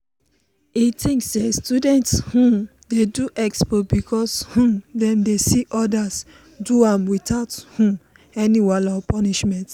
e think say students um dey do expo because um dem dey see others do am without um any wahala or punishment.